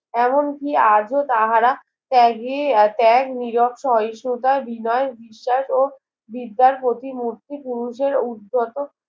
এমন কি আজও তাহারা ত্যাগে ত্যাগ নীরব সহিষ্ণুতা বিনয় বিশ্বাস ও বিদ্যার প্রতি মুহূর্তে পুরুষের উর্দ্ধত